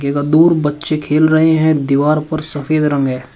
दूर बच्चे खेल रहे हैं दीवार पर सफेद रंग है।